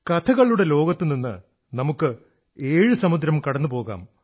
കഥകളുടെ ലോകത്തുനിന്ന് നമുക്ക് ഏഴു സമുദ്രം കടന്നുപോകാം